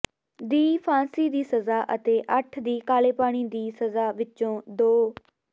ਦੀ ਫਾਂਸੀ ਦੀ ਸਜ਼ਾ ਅਤੇ ਅੱਠ ਦੀ ਕਾਲੇਪਾਣੀ ਦੀ ਸਜ਼ਾ ਵਿਚੋਂ ਦੋ